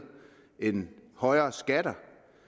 end højere skatter